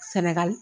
Sɛnɛgali